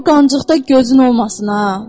O qancıqda gözün olmasın ha!